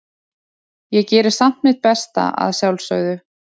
Ég geri samt mitt besta, að sjálfsögðu.